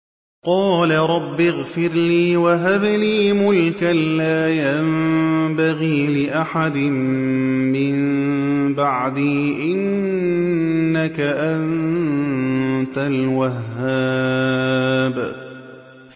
قَالَ رَبِّ اغْفِرْ لِي وَهَبْ لِي مُلْكًا لَّا يَنبَغِي لِأَحَدٍ مِّن بَعْدِي ۖ إِنَّكَ أَنتَ الْوَهَّابُ